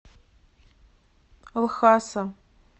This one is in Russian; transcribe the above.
лхаса